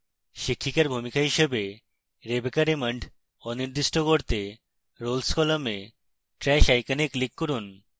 শিক্ষিকার ভূমিকা থেকে rebecca raymond অনির্দিষ্ট করতে roles column trash icon click করুন